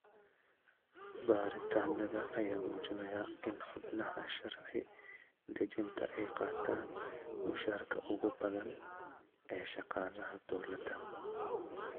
Baaritaanada ayaa muujinaya in xubnaha sharci dejinta ay qaataan mushaarka ugu badan ee shaqaalaha dowladda.